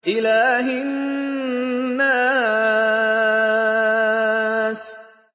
إِلَٰهِ النَّاسِ